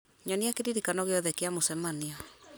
nyonia kĩririkano gĩothe kĩa mũcemanio